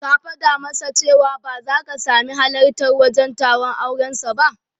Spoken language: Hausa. Ka fada masa cewa ba zaka sami halartar wajen taron auren sa ba